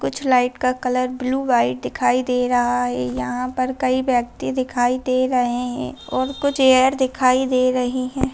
कुछ लाइट का colour blue white दिखाई दे रहा है यहाँ पर कई व्यक्ति दिखाई दे रहे हैं और कुछ एयर दिखाई दे रहीं हैं।